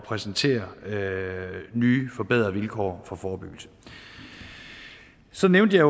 præsentere nye forbedrede vilkår for forebyggelse så nævnte jeg